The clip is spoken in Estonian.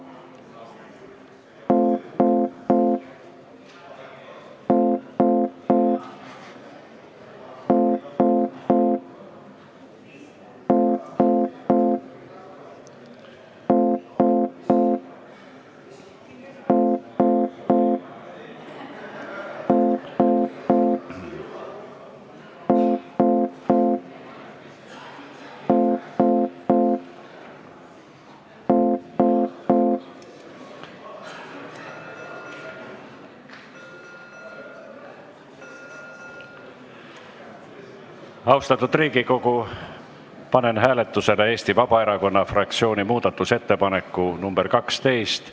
Austatud Riigikogu, panen hääletusele Eesti Vabaerakonna fraktsiooni muudatusettepaneku nr 12.